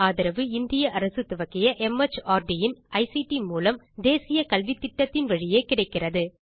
இதற்கு ஆதரவு இந்திய அரசு துவக்கிய மார்ட் இன் ஐசிடி மூலம் தேசிய கல்வித்திட்டத்தின் வழியே கிடைக்கிறது